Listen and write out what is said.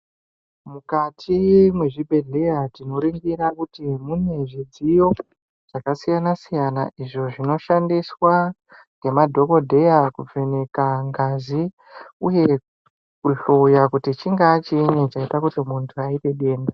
Mukati mwezvibhedhleya tinoringira kuti mune zvidziyo zvakasiyana siyana izvo zvinoshandiswa ngemadhokodheya kuvheneka ngazi uye kuhloya kuti chingaa chiini chaite kuti muntu aite denda.